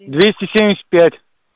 двести семьдесят пять